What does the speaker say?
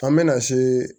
An bɛna se